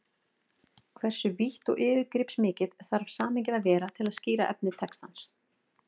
Hversu vítt og yfirgripsmikið þarf samhengið að vera til að skýra efni textans?